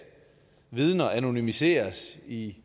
vidner anonymiseres i